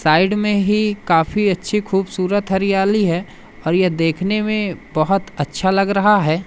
Side में ही काफी अच्छी खूबसूरत हरियाली है और यह देखने में बहोत अच्छा लग रहा है।